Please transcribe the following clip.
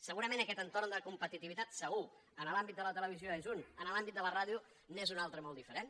segurament aquest entorn de competitivitat segur en l’àmbit de la televisió és un en l’àmbit de la ràdio n’és un altre de molt diferent